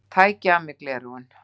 Tæki af mér gleraugun.